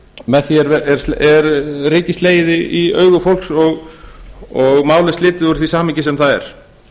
með því er ryki slegið í augu fólks og málið slitið úr því samhengi sem það er